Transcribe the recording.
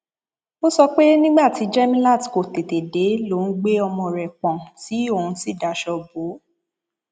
ó sọ pé nígbà tí jẹmilát kò tètè dé lòun gbé ọmọ rẹ pọn tí òun sì daṣọ bò ó